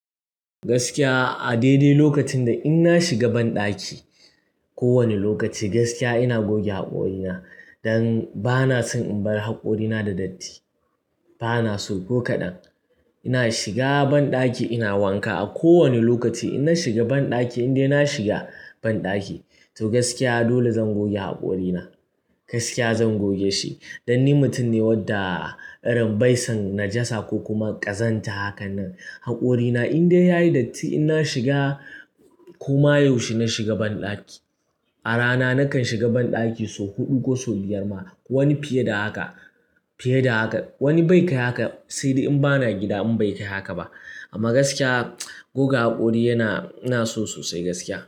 Gaskiya a daidai lokacin da in na shiga banɗaki ko wani lokaci gaskiya ina goge haƙorina, dan bana son in bar haƙorina da datti. Bana so ko kaɗan. Ina shiga banɗaki ina wanka, a kowane lokaci, inna shiga banɗaki, in dai na shiga banɗaki to gaskiya dole zan goge haƙorina. Gaskiya zan goge shi. Dan ni mutum ne wadda irin baisan najasa, ko kuma ƙazanta hakan nan. Haƙorina in dai yayi datti ina shiga koma yau shi na shiga banɗaki. A rana nakan shiga banɗaki sau huɗu ko sau biyar ma, wani fiye da haka, fiye da haka. Wani bai kai haka sai dai in bana gida in bai kai haka ba. Amma gaskiya goga haƙori yana, ina so sosai gaskiya.